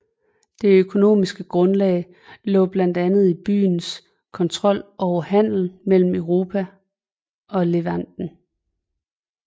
Det økonomiske grundlag lå blandt andet i byens kontrol over handelen mellem Europa og Levanten